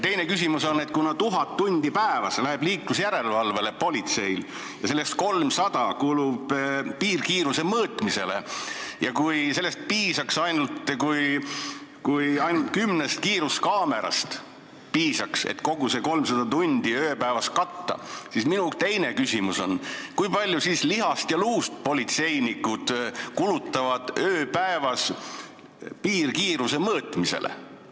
Teine küsimus on, et kuna politseil läheb liiklusjärelevalvele 1000 tundi päevas ja sellest 300 kulub piirkiiruse mõõtmisele ja kui ainult kümnest kiiruskaamerast piisaks, et kogu see 300 tundi ööpäevas katta, siis kui palju lihast ja luust politseinikud kulutavad ööpäevas piirkiiruse mõõtmisele.